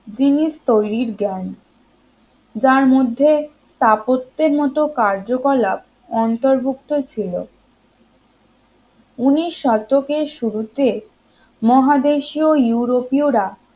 জিনিস তৈরির জ্ঞান যার মধ্যে স্থাপত্যের মতো কার্যকলাপ অন্তর্ভুক্ত ছিল উনিশ শতকের শুরুতে মহাদেশীয় ইউরোপীয়রা